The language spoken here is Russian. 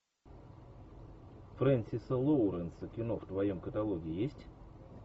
фрэнсиса лоуренса кино в твоем каталоге есть